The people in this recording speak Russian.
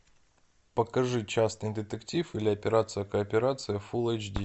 покажи частный детектив или операция кооперация фул эйч ди